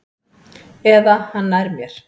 Eða hann nær mér.